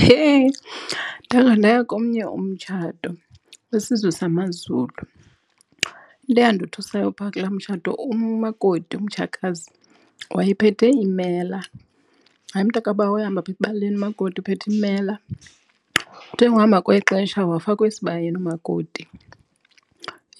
Heh, ndake ndaya komnye umtshato kwisizwe samaZulu. Into eyandothusayo phaa kulaa mtshato umakoti umtshakazi wayephethe imela. Hayi mntakabawo ehamba apha ebaleni umakoti uphethe imela. Kuthe ukuhamba kwexesha wafakwa esibayeni umakoti.